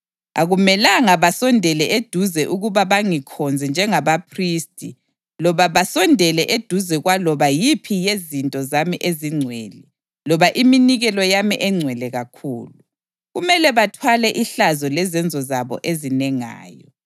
Akumelanga basondele eduze ukuba bangikhonze njengabaphristi loba basondele eduze kwaloba yiphi yezinto zami ezingcwele loba iminikelo yami engcwele kakhulu; kumele bathwale ihlazo lezenzo zabo ezinengayo.